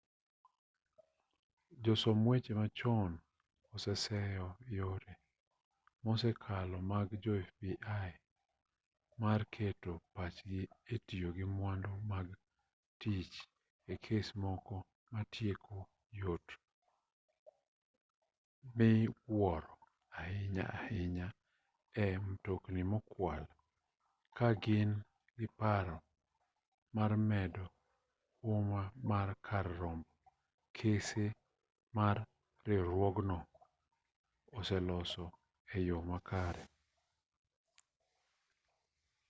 josom weche machon oseseyo yore mosekalo mag jo fbi mar keto pachgi e tiyo gi mwandu mag tich e kes moko ma tieko yot miwuoro ahinya ahinya e mtokni mokwal ka gin gi paro mar medo huma mar kar romb kese ma riwruogno oseloso e yo makare